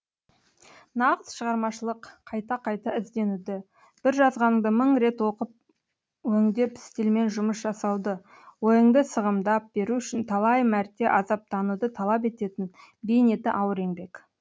нағыз шығармашылық қайта қайта ізденуді бір жазғаныңды мың рет өңдеп стильмен жұмыс жасауды ойыңды сығымдап беру үшін талай мәрте азаптануды талап ететін бейнеті ауыр еңбек